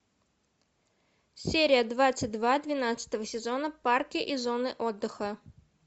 серия двадцать два двенадцатого сезона парки и зоны отдыха